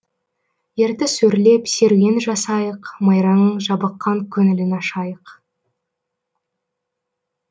ертіс өрлеп серуен жасайық майраның жабыққан көңілін ашайық